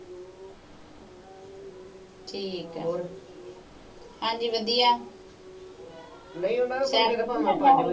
ਠੀਕ ਹੈ, ਹਾਂਜੀ ਵਧੀਆ, ਨਹੀਂ ਪੈਂਦਾ ਹੋਰ।